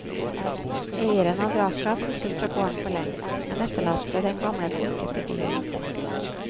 Eieren av vraket har flyttet fra gården for lengst, men etterlatt seg den gamle bulkete bilen.